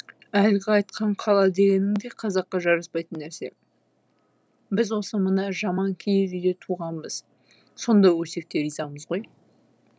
әлгі айтқан қала дегенің де қазаққа жараспайтын нәрсе біз осы мына жаман киіз үйде туғанбыз сонда өлсек те ризамыз ғой